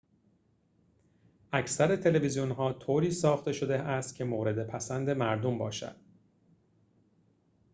اکثر تلویزیون‌ها طوری ساخته شده‌است که مورد پسند مردم باشد